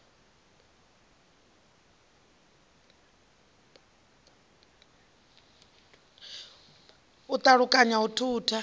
u pa ulukanya u thutha